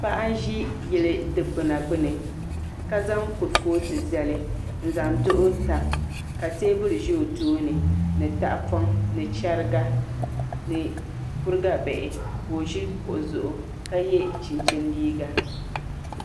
Paɣa n ʒi yili dikpuna gbuni ka zaŋ kurifooti zali n zaŋ duɣu tam ka teebuli ʒɛ o tooni ni tahapoŋ ni chɛriga ni kuriga bihi ka o ʒi kuɣu zuɣu ka yɛ chinchin liiga